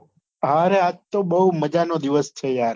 હારે આજ તો બહુ મજાનો દિવસ છે યાર